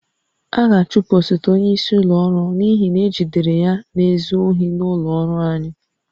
A ga-achụpụ osote onyeisi ụlọ ọrụ n'ihi na ejidere ya na-ezu ohi n'ụlọ ọrụ anyị